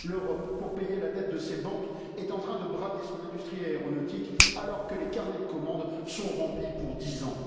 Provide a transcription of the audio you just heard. L'Europe, pour payer la dette de ses banques, est en train de brader son industrie aéronautique, alors que les carnets de commande sont remplis pour dix ans.